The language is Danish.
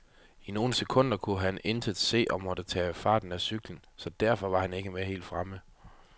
I nogle sekunder kunne han intet se og måtte tage farten af cyklen, så derfor var han ikke med helt fremme.